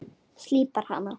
Slípar hana.